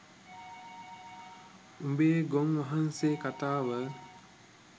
උබේ ගොන් වහන්සේ කතාව